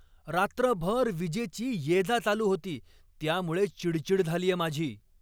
रात्रभर वीजेची ये जा चालू होती त्यामुळे चिडचिड झालीये माझी.